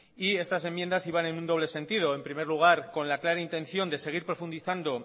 estas enmiendas iban en un doble sentido en primer lugar con la clara intención de seguir profundizando